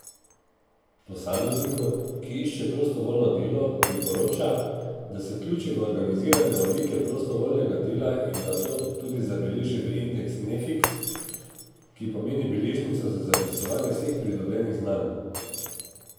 Posamezniku, ki išče prostovoljno delo, priporoča, da se vključi v organizirane oblike prostovoljnega dela in da to tudi zabeleži v indeks Nefiks, ki pomeni beležnico za zapisovanje vseh pridobljenih znanj.